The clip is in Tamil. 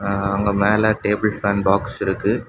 ஆ அங்க மேலே டேபிள் ஃபேன் பாக்ஸ் இருக்கு.